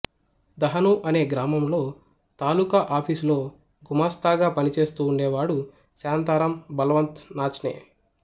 దహనూ అనే గ్రామంలో తాలూకా ఆఫీసులో గుమాస్తాగా పనిచేస్తూ ఉండేవాడు శాంతారామ్ బల్వంత్ నాచ్నే